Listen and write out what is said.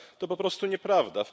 To po prostu nieprawda.